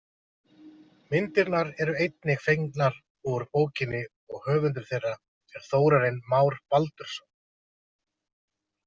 Myndirnar eru einnig fengnar úr bókinni og höfundur þeirra er Þórarinn Már Baldursson.